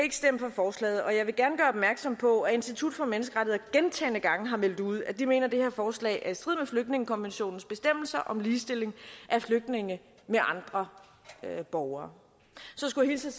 forslaget og jeg vil gerne gøre opmærksom på at institut for menneskerettigheder gentagne gange har meldt ud at de mener at det her forslag er i strid med flygtningekonventionens bestemmelser om ligestilling af flygtninge med andre borgere så skulle